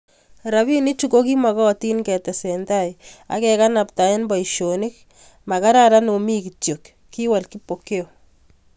Robinichu kokima gatin ketesetai ak kekanabtaei boisionik, makararan omi kityo kiwol Kipokeo